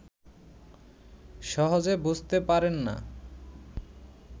সহজে বুঝিতে পারেন না